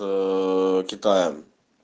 китаем